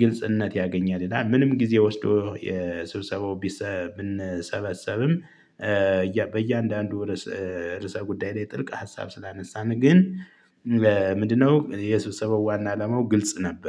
ግልጽነት ያገኛል ይላል። ምንም ጊዜ ወስዶ የሰብሰባው ቢሰብ ብንሰበሰብም በእያንዳንዱ ርዕስ ርዕሰ ጉዳይ ላይ ጥልቅ ሀሳብ ስላነሳን ግን ምንድነው የሱስ የሰበው ዋና አላማው ግልጽ ነበር